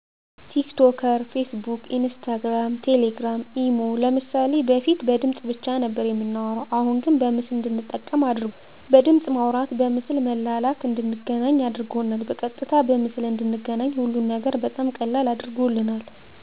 ቲክቶከር ፌስቡክ ኢንስታግራም ቴሌግራም ኢሞ ለምሳሌ በፊት በድምፅ ብቻ ነበር የምናወራሁ አሁን በምስል እንድንጠቀም አድርጓል ድምፅ በማውራት ምስል በመላላክ እንድንገናኝ አድርጎናል በቀጥታ በምስል እንድንገናኝ ሀሉን ነገር በጣም ቀላል አድርጎልናል